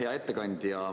Hea ettekandja!